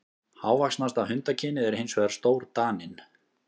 Hávaxnasta hundakynið er hins vegar stórdaninn.